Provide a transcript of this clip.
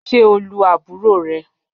Ṣe o lu aburo rẹ?